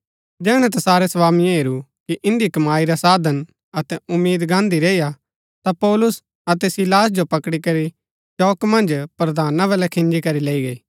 जैहणै तैसारै स्वामिये हेरू कि इन्दी कमाई रा साधन अतै उम्मीद गान्दी रैईआ ता पौलुस अतै सीलास जो पकड़ी करी चौक मन्ज प्रधाना वलै खिन्जी करी लैई गै